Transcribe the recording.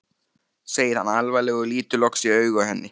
segir hann alvarlegur og lítur loks í augu henni.